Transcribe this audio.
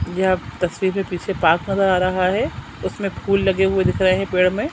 यह तस्वीर में पीछे पार्क नजर आ रहा है उसमें फूल लगे हुआ दिख रहे है पेड़ में--